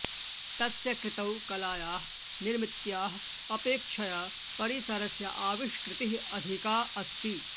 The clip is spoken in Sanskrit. तस्य कृतौ कलायाः निर्मित्याः अपेक्षया परिसरस्य आविष्कृतिः अधिका अस्ति